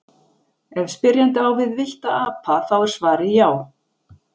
ef spyrjandi á við villta apa þá er svarið já